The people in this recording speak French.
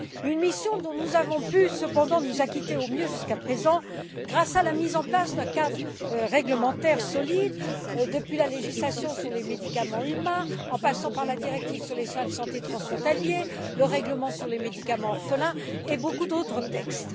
Une mission dont nous avons pu cependant nous acquitter au mieux jusqu'à présent grâce à la mise en place d'un cadre réglementaire solide, avec la législation sur les médicaments humains, la directive sur les soins de santé transfrontaliers, le règlement sur les médicaments orphelins et beaucoup d'autres textes.